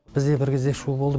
бізде бір кезде шу болды